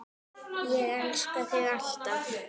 Ég elska þig alltaf.